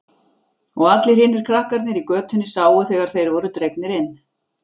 Og allir hinir krakkarnir í götunni sáu þegar þeir voru dregnir inn.